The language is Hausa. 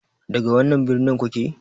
Daga wannan birnin kuke?